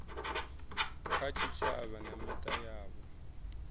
kha tshitshavha na mita yavho